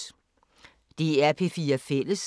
DR P4 Fælles